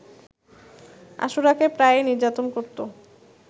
আশুরাকে প্রায়ই নির্যাতন করতো